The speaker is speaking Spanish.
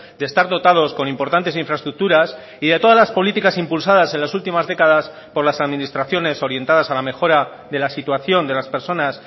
de estar dotados con importantes infraestructuras y de todas las políticas impulsadas en las últimas décadas por las administraciones orientadas a la mejora de la situación de las personas